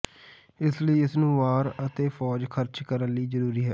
ਇਸ ਲਈ ਇਸ ਨੂੰ ਵਾਰ ਅਤੇ ਫ਼ੌਜ ਖਰਚ ਕਰਨ ਲਈ ਜ਼ਰੂਰੀ ਹੈ